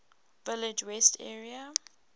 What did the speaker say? village west area